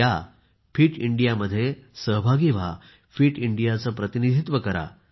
या fit India मध्ये सहभागी व्हा फिट इंडियाचे प्रतिनिधित्व करा